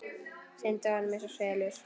Syndi í honum einsog selur.